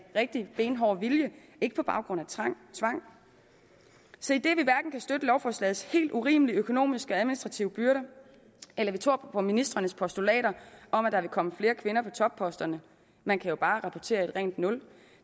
rigtig benhård vilje ikke på baggrund af tvang så idet vi hverken kan støtte lovforslagets helt urimelige økonomiske og administrative byrder eller tror på ministrenes postulater om at der vil komme flere kvinder på topposterne man kan jo bare rapportere et rent nul